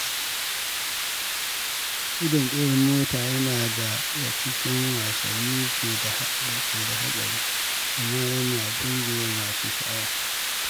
Gudun tseren mota yana daga cikin wasannin da ke da haɗari, amma yana burge masu sha’awa.